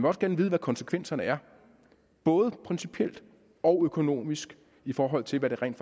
også gerne vide hvad konsekvenserne er både principielt og økonomisk i forhold til hvad det rent